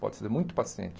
Pode ser muito paciente.